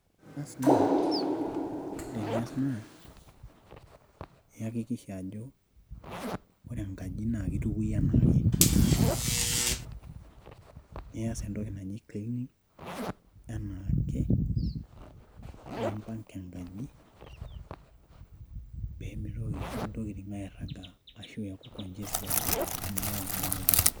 Basi naa ore enias naa iyakikisha ajo ore enkaji naa keitukui enaake nias entoki naji cleaning enaake nimpanga enkaji pemitoki intokitin airagaaa ashua aaku congested amu keyau oloiterio.